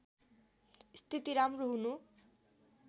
स्थिति राम्रो हुनु